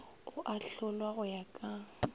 o ahlolwa go ya ka